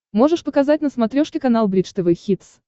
можешь показать на смотрешке канал бридж тв хитс